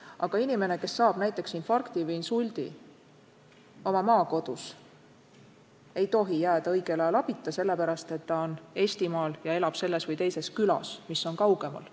Aga inimene, kes saab näiteks infarkti või insuldi oma maakodus, ei tohi jääda õigel ajal abita sellepärast, et ta elab Eestimaal selles või teises külas, mis on kaugemal.